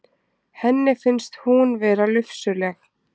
Henni finnst hún vera lufsuleg.